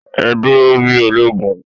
Ẹ dúró bí ológun!